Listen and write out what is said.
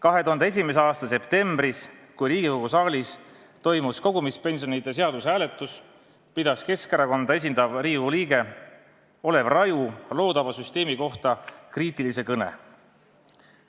2001. aasta septembris, kui Riigikogu saalis toimus kogumispensionide seaduse hääletus, pidas Keskerakonda esindav Riigikogu liige Olev Raju loodava süsteemi kohta kriitilise kõne.